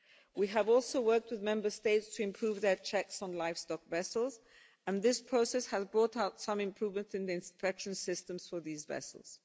We have also worked with Member States to improve their checks on livestock vessels, and this process has brought out some improvement in the inspection systems for these vessels.